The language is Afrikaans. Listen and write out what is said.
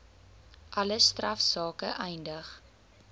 alle strafsake eindig